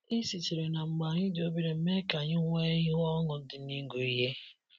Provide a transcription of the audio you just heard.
E sitere na mgbe anyị dị obere mee ka anyị nwee ihu ọńụ di na ịgụ ihe.